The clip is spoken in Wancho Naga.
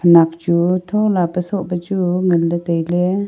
khenak chu thola pa soh pechu nganley tailey.